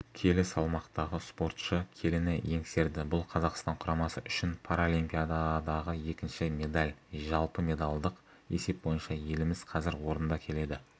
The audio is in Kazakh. келі салмақтағы спортшы келіні еңсерді бұл қазақстан құрамасы үшін паралимпиададағы екінші медаль жалпымедалдық есеп бойынша еліміз қазір орында келеді